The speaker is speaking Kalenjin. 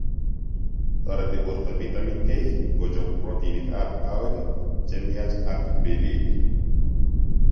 Toreti boorto vatimin k ng'ochob protinik ab kawek chemiach ak meliik